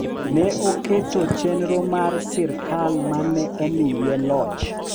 Ne oketo chenro mar sirkal ma ne omiye loch